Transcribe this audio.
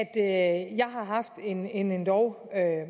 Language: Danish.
at jeg har haft en en endog